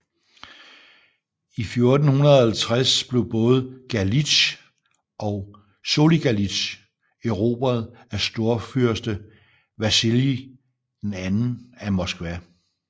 I 1450 blev både Galitsj og Soligalitsj erobret af storfyrste Vasilij II af Moskva